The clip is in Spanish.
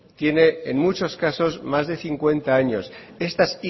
tiene en muchos casos más de cincuenta años estas